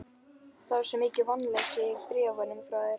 Það var svo mikið vonleysi í bréfunum frá þér.